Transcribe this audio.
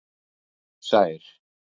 Sær